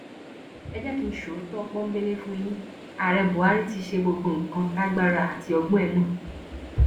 ẹ jẹ kí n so òótọ pọḿbẹlẹ fún yín ààrẹ buhari ti ṣe gbogbo nǹkan tágbára àti ọgbọn ẹ mọ